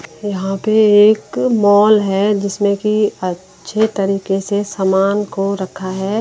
यहां पे एक मॉल है जिसमें कि अच्छे तरीके से सामान को रखा है।